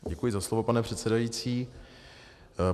Děkuji za slovo, pane předsedající.